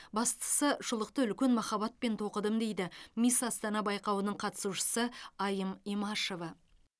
бастысы шұлықты үлкен махаббатпен тоқыдым дейді мисс астана байқауының қатысушысы айым имашева